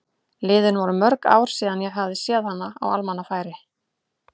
Liðin voru mörg ár síðan ég hafði séð hana á almannafæri.